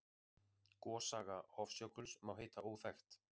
Gossaga Hofsjökuls má heita óþekkt.